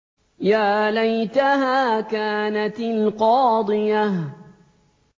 يَا لَيْتَهَا كَانَتِ الْقَاضِيَةَ